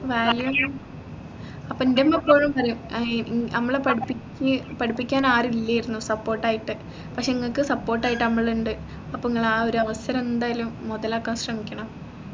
value means അപ്പോ അൻറെ ഉമ്മ എപ്പോഴും പറയും ഏർ നമ്മളെ പഠിപ്പി പഠിപ്പിക്കാൻ ആരും ഇല്ലെന്നു support ആയിട്ട് പക്ഷേ നിങ്ങക്ക് support ആയിട്ട് നമ്മളിണ്ട് അപ്പോ നിങ്ങളാ ഒരു അവസരം എന്തായാലും മുതലാക്കാൻ ശ്രമിക്കണം